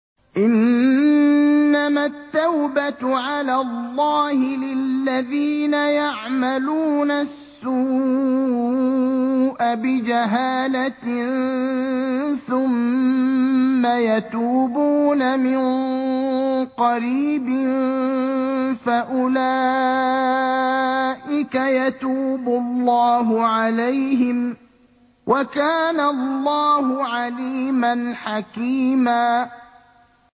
إِنَّمَا التَّوْبَةُ عَلَى اللَّهِ لِلَّذِينَ يَعْمَلُونَ السُّوءَ بِجَهَالَةٍ ثُمَّ يَتُوبُونَ مِن قَرِيبٍ فَأُولَٰئِكَ يَتُوبُ اللَّهُ عَلَيْهِمْ ۗ وَكَانَ اللَّهُ عَلِيمًا حَكِيمًا